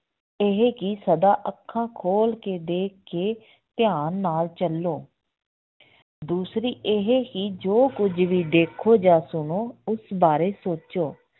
ਇਹ ਕਿ ਸਦਾ ਅੱਖਾਂ ਖੋਲ ਕੇ ਦੇਖ ਕੇ ਧਿਆਨ ਨਾਲ ਚੱਲੋ ਦੂਸਰੀ ਇਹ ਕਿ ਜੋ ਕੁੱਝ ਵੀ ਦੇਖੋ ਜਾਂ ਸੁਣੋ ਉਸ ਬਾਰੇ ਸੋਚੋ